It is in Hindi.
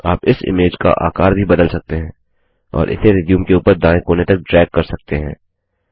आप इस इमेज का आकार भी बदल सकते हैं और इसे रिज्यूम के ऊपर दाएँ कोने तक ड्रैग कर सकते हैं